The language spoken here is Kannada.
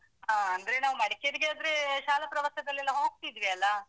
ಹಾ ಅಂದ್ರೆ ನಾವ್ ಮಡಿಕೇರಿಗಾದ್ರೆ ಶಾಲಾ ಪ್ರವಾಸದಲ್ಲೆಲ್ಲ ಹೋಗ್ತಿದ್ವಿ ಅಲಾ.